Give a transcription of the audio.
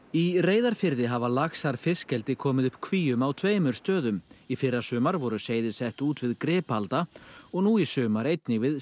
í Reyðarfirði hafa laxar fiskeldi komið upp kvíum á tveimur stöðum í fyrrasumar voru seiði sett út við Gripalda og nú í sumar einnig við